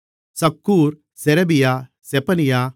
Zaccur Sherebiah Zephaniah